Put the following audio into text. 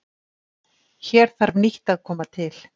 Hér þarf nýtt að koma til.